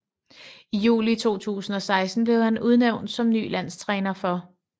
I juli 2016 blev han udnævnt som ny landstræner for